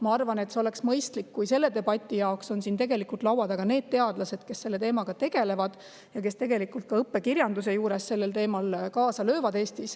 Ma arvan, et oleks mõistlik, kui selle debati jaoks oleks siin teadlased, kes selle teemaga tegelevad ja tegelikult ka õppekirjanduse juures sellel teemal Eestis kaasa löövad.